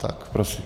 Tak prosím.